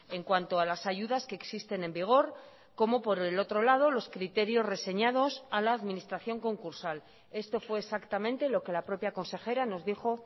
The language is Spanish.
en cuanto a las ayudas que existen en vigor como por el otro lado los criterios reseñados a la administración concursal esto fue exactamente lo que la propia consejera nos dijo